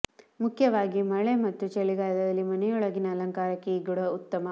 ಮುಖ್ಯವಾಗಿ ಮಳೆ ಮತ್ತು ಚಳಿಗಾಲದಲ್ಲಿ ಮನೆಯೊಳಗಿನ ಅಲಂಕಾರಕ್ಕೆ ಈ ಗಿಡ ಉತ್ತಮ